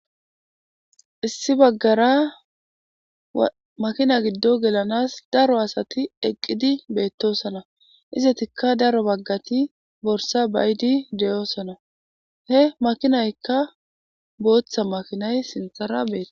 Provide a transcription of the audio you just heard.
Issi bagara makina gido gelanasi daro asati eqidi betosona, izetika daro bagati borsa ba'idi de'osona, he makinayka bootha mayidayi sinthara betesi.